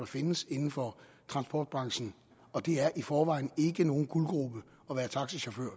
findes inden for transportbranchen og det er i forvejen ikke nogen guldgrube at være taxachauffør